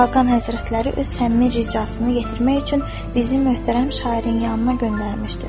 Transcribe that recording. Xaqan Həzrətləri öz həmi ricasını yetirmək üçün bizi möhtərəm şairin yanına göndərmişdir.